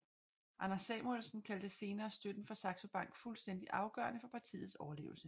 Anders Samuelsen kaldte senere støtten fra Saxo Bank fuldstændig afgørende for partiets overlevelse